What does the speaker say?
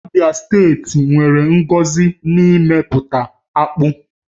Abịa steeti nwere ngọzi n'eme pụta akpụ